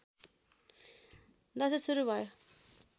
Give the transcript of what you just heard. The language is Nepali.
दशैँ सुरु भयो